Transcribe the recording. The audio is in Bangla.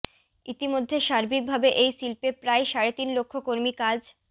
ইতিমধ্যে সার্বিক ভাবে এই শিল্পে প্রায় সাড়ে তিন লক্ষ কর্মী কাজ